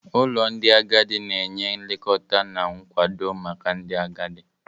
Ụlọ ndị agadi na-enye nlekọta na nkwado maka ndị agadi.